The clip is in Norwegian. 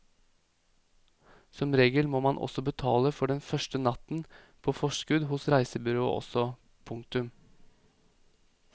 Som regel må man også betale for den første natten på forskudd hos reisebyrået også. punktum